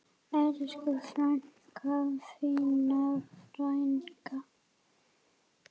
Elsku frænka, fína frænka.